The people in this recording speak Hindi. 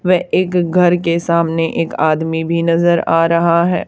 वे एक घर के सामने एक आदमी भी नजर आ रहा है।